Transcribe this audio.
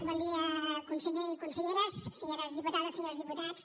bon dia conseller i conselleres senyores diputades senyors diputats